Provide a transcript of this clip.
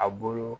A bolo